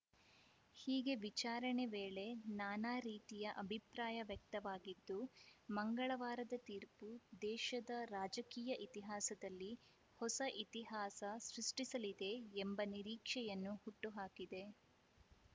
ಹೀಗೆ ವಿಚಾರಣೆ ವೇಳೆ ನಾನಾ ರೀತಿಯ ಅಭಿಪ್ರಾಯ ವ್ಯಕ್ತವಾಗಿದ್ದು ಮಂಗಳವಾರದ ತೀರ್ಪು ದೇಶದ ರಾಜಕೀಯ ಇತಿಹಾಸದಲ್ಲಿ ಹೊಸ ಇತಿಹಾಸ ಸೃಷ್ಟಿಸಲಿದೆ ಎಂಬ ನಿರೀಕ್ಷೆಯನ್ನು ಹುಟ್ಟುಹಾಕಿದೆ